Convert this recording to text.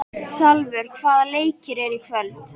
Salvör, hvaða leikir eru í kvöld?